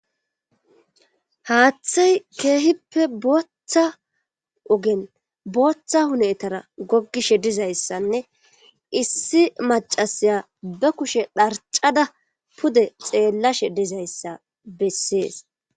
haaththay keehippe booththa ogen booththa hunetara goggishe dizayssanne issi macasiya ba kushe dharcada pude xeellashe dizayssa bessees